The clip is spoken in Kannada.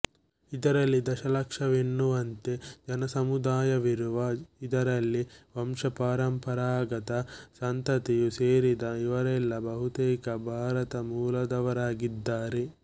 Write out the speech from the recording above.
ಇದರಲ್ಲಿ ದಶಲಕ್ಷವೆನ್ನುವಂತೆ ಜನಸಮುದಾಯವಿರುವ ಇದರಲ್ಲಿ ವಂಶಪರಂಪರಾಗತ ಸಂತತಿಯೂ ಸೇರಿದೆ ಇವರೆಲ್ಲಾ ಬಹುತೇಕ ಭಾರತ ಮೂಲದವರಾಗಿದ್ದಾರೆ